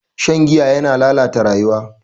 Shan giya yana lalata rayuwa.